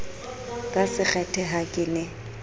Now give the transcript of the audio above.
ka sekgethe ha ke ne